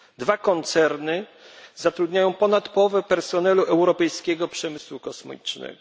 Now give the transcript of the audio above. Dwa koncerny zatrudniają ponad połowę personelu europejskiego przemysłu kosmicznego.